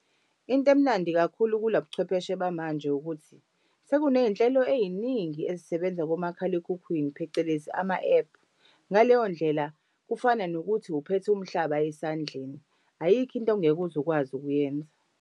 Into emnandi kakhulu kula buchwepheshe bamanje ukuthi sekuney'nhlelo ey'ningi ezisebenza komakhalekhukhwini phecelezi ama-ephu. Ngaleyo ndlela kufana nokuthi uphethe umhlaba esandleni, ayikho into ongeke uze ukwazi ukuyenza.